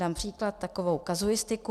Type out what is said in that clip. Dám příklad, takovou kazuistiku.